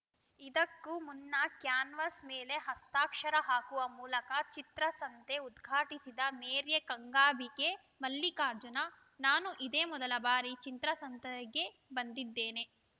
ಇದಕ್ಕೂ ಮುನ್ನ ಕ್ಯಾನ್ವಾಸ್‌ ಮೇಲೆ ಹಸ್ತಾಕ್ಷರ ಹಾಕುವ ಮೂಲಕ ಚಿತ್ರಸಂತೆ ಉದ್ಘಾಟಿಸಿದ ಮೇರೆಯೆ ಗಂಗಾಂಬಿಕೆ ಮಲ್ಲಿಕಾರ್ಜುನ ನಾನು ಇದೇ ಮೊದಲ ಬಾರಿ ಚಿತ್ರಸಂತೆಗೆ ಬಂದಿದ್ದೇನೆ